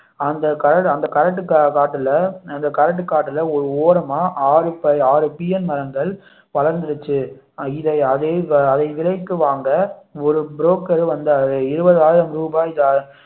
அந்த கரடு அந்த கரட்டு காட்டுல அந்த கரட்டு காட்டுல ஒரு ஓரமா ஆறு பீயன் மரங்கள் வளர்ந்துருச்சு இதை அதை விலைக்கு வாங்க ஒரு broker வந்தாரு இருபதாயிரம் ரூபாய் தா~